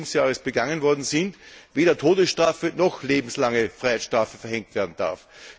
18. Lebensjahres begangen worden sind, weder die Todesstrafe noch eine lebenslange Freiheitsstrafe verhängt werden darf.